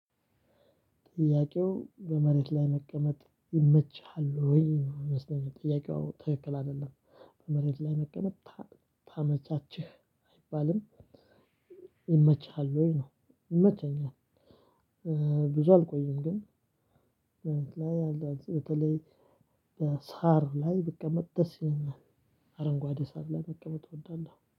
ጥያቄው፥ በመሬት ላይ መቀመጥ ይመችሃል ወይ? ይመስለኛል። ጥያቄው ትክክል አይደለም። በመሬት ላይ መቀመጥ ታመቻችህ አይባልም። ይመችሃል ወይ? ነው። ይመቸኛል፥ ብዙ አልቆይም ግን ላይ አልዳበስም በሳር ላይ በቀመጥ ደስ ይለናል አረንጓዴ ሳር ላይ በቀመጥ እወዳለሁ